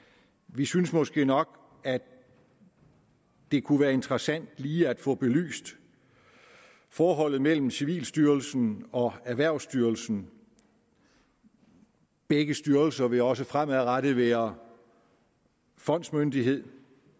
vi synes måske nok at det kunne være interessant lige at få belyst forholdet mellem civilstyrelsen og erhvervsstyrelsen begge styrelser vil også fremadrettet være fondsmyndighed